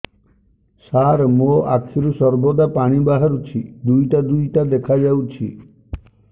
ସାର ମୋ ଆଖିରୁ ସର୍ବଦା ପାଣି ବାହାରୁଛି ଦୁଇଟା ଦୁଇଟା ଦେଖାଯାଉଛି